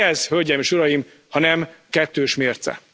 Mi ez, hölgyeim és uraim, ha nem kettős mérce?